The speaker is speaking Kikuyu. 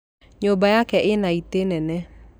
Nyũmba yaku ĩna itĩ nene